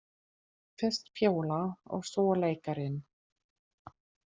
Fyrst Fjóla og svo leikarinn.